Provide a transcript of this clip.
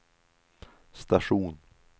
station